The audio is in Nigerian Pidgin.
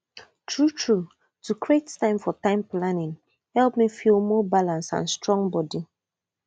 truetrue to create time for time planning help me feel more balanced and strong body